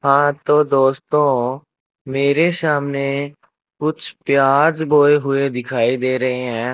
हां तो दोस्तों मेरे सामने कुछ प्याज बोए हुए दिखाई दे रहें हैं।